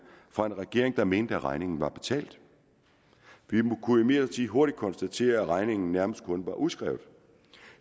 fra en regering der mente at regningen var betalt vi kunne imidlertid hurtigt konstatere at regningen nærmest kun var udskrevet